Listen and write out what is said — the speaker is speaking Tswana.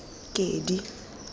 kedi